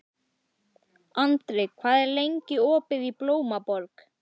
Andri, hvað er lengi opið í Blómaborg?